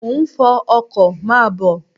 Mo ń fọ ọkọ, máa bọ̀.